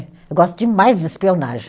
Eu gosto demais de espionagem.